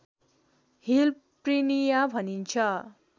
hill prinia भनिन्छ